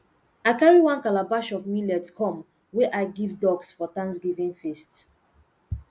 i carry one calabash of millet come wey i give ducks for thanksgiving feast